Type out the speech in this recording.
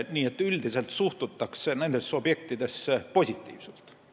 Nii et üldiselt suhtutakse nendesse objektidesse positiivselt.